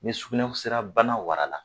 Ni s sugunɛsira bana wara la